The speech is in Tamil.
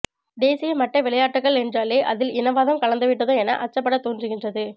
தேசிய மட்ட விளையாட்டுக்கள் என்றாலே அதில் இனவாதம் கலந்து விட்டதோ என அச்சப்படத் தோன்றுகின்றது